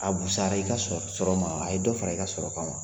A busara i ka sɔrɔ ma wa? A ye dɔ fara i ka sɔrɔ kan wa?